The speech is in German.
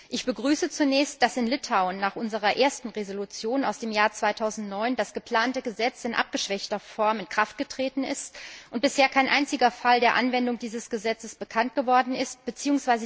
Ich begrüße zunächst, dass in Litauen nach unserer ersten Entschließung aus dem Jahr 2009 das geplante Gesetz in abgeschwächter Form in Kraft getreten ist und bisher kein einziger Fall der Anwendung dieses Gesetzes bekannt geworden ist bzw.